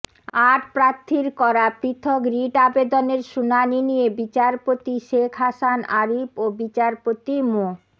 আট প্রার্থীর করা পৃথক রিট আবেদনের শুনানি নিয়ে বিচারপতি শেখ হাসান আরিফ ও বিচারপতি মো